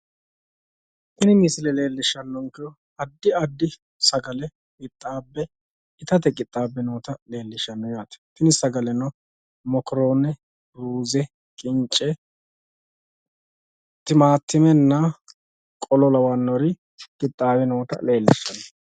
Tini misile leellishanonkehu addi addi sagale noottati iseno, mokkorone, Ruze, ka'rotenna hattono wolootuno nootta xawisano itate biife qixxabbino sagaleti